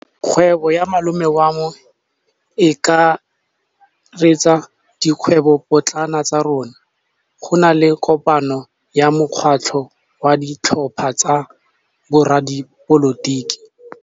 Kgwêbô ya malome wa me e akaretsa dikgwêbôpotlana tsa rona. Go na le kopanô ya mokgatlhô wa ditlhopha tsa boradipolotiki.